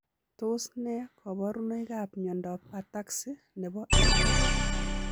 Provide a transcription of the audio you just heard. Tos nee kabarunoik ap miondoop ataxi nepo artam?